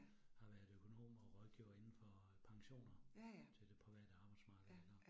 Har været økonom og rådgiver indenfor pensioner til det private arbejdsmarked iggå